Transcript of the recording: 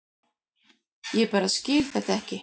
Ég bara skil þetta ekki.